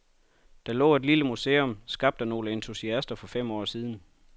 Der lå et lille museum, skabt af nogle entusiaster for fem år siden.